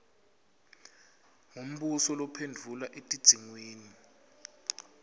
ngumbuso lophendvula etidzingweni